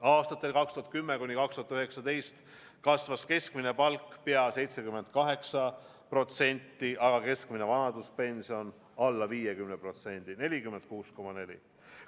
Aastatel 2010–2019 kasvas keskmine palk pea 78%, aga keskmine vanaduspension alla 50%: 46,4%.